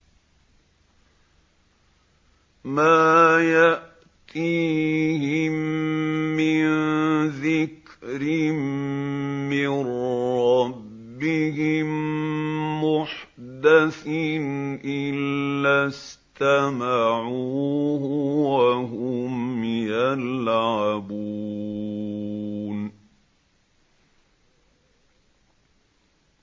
مَا يَأْتِيهِم مِّن ذِكْرٍ مِّن رَّبِّهِم مُّحْدَثٍ إِلَّا اسْتَمَعُوهُ وَهُمْ يَلْعَبُونَ